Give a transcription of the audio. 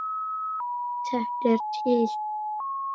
Þetta er til.